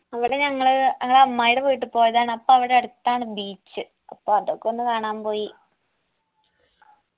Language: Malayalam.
അവിടെ ഞങ്ങള് ങ്ങളെ അമ്മായിടെ വീട്ട് പോയതാണ് അപ്പവിടടത്താണ് beach അപ്പൊ അതൊക്കെ ഒന്ന് കാണാൻ പോയി